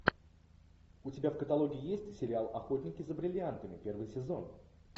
у тебя в каталоге есть сериал охотники за бриллиантами первый сезон